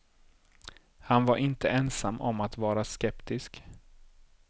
Han var inte ensam om att vara skeptisk.